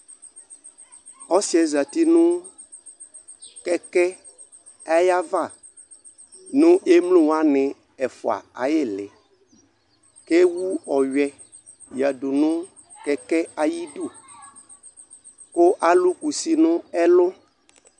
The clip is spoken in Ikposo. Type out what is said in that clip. ɔsi yɛ zati nu kɛkɛ ayava nu ello wani ɛfua ayili kewu ɔɣɛdu nukɛke ayidu kʊ alu kusi nu ɛlu